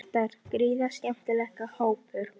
Þetta er gríðarlega skemmtilegur hópur.